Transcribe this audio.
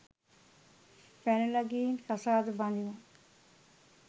පැනල ගිහින් කසාද බඳිමු